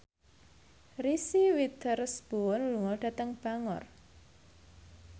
Reese Witherspoon lunga dhateng Bangor